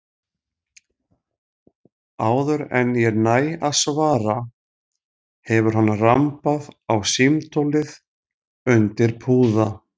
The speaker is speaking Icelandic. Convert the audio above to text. Áður en ég næ að svara hefur hann rambað á símtólið undir púða.